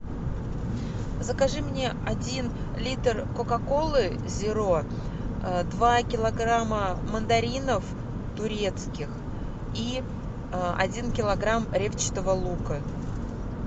закажи мне один литр кока колы зеро два килограмма мандаринов турецких и один килограмм репчатого лука